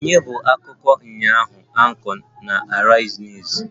Ònye bụ akụkọ ụnyaahụ Anchor on Arise news?